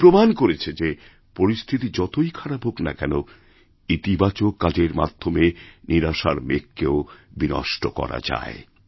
অঞ্জুম প্রমাণ করেছে যে পরিস্থিতি যতই খারাপ হোকনা কেন ইতিবাচক কাজের মাধ্যমে নিরাশার মেঘকেও বিনষ্ট করা যায়